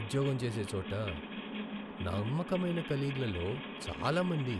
ఉద్యోగం చేసే చోట నమ్మకమైన కొలీగ్లలో చాలా మంది